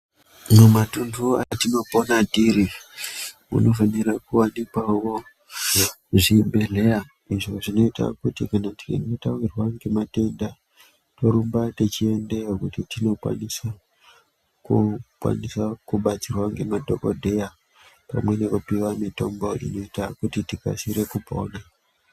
Mumatunhu atinopona tiri, munofanira kuwanikwawo zvibhedhleya izvo zvinoita kuti kana tichinge tawirwa ngematenda, torumba techiendeyo kuti tinokwanisa kubatsirwa ngemadhogodheya pamwe nekupiwa mitombo inoita kuti tikasike kupona.